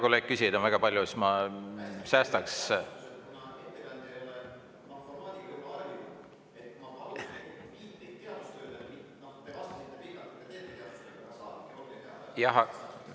Kuna küsijaid on väga palju, hea kolleeg, siis ma säästaks.